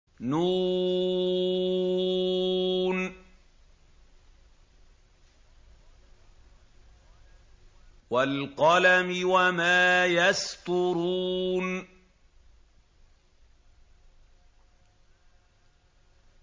ن ۚ وَالْقَلَمِ وَمَا يَسْطُرُونَ